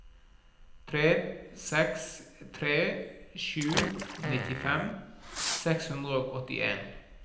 tre seks tre sju nittifem seks hundre og åttien